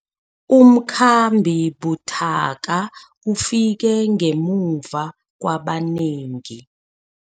Umkhambi buthaka ufike ngemva kwabanengi.